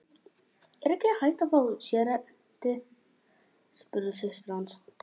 Er ekki hægt að fá sérrétti, spurði systir hans.